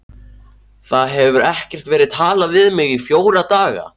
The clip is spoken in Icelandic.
Það hefur ekkert verið talað við mig í fjóra daga.